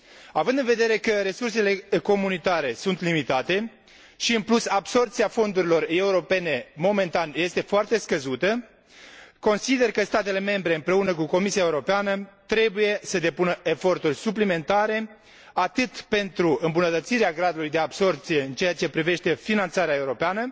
Având în vedere că resursele comunitare sunt limitate, și în plus absorbția fondurilor europene momentan este foarte scăzută, consider că statele membre împreună cu Comisia Europeană trebuie să depună eforturi suplimentare, atât pentru îmbunătățirea gradului de absorbție în ceea ce privește finanțarea europeană,